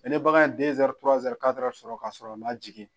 ne bagan ye sɔrɔ k'a sɔrɔ a man jigin